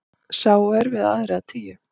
Sá er við aðra tíu.